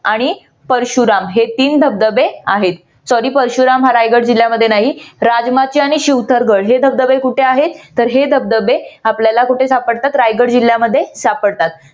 आणि परशुराम हे तीन धबधबे आहेत. तरी परशुराम हा रायगड जिल्ह्यामध्ये नाही हे धबधबे कुठे आहेत तर हे धबधबे आपल्याला कुठे सापडतात रायगड जिल्यामध्ये सापडतात.